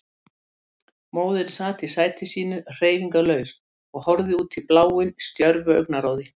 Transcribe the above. Móðirin sat í sæti sínu hreyfingarlaus og horfði útí bláinn stjörfu augnaráði.